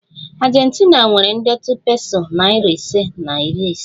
Argentina nwere ndetu peso nari ise na iri isii